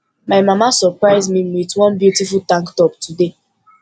my mama surprise me with one beautiful tank top today